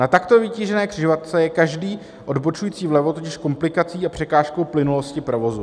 Na takto vytížené křižovatce je každý odbočující vlevo totiž komplikací a překážkou plynulosti provozu.